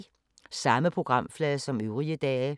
Samme programflade som øvrige dage